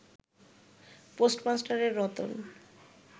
পোস্টমাস্টারের Ratan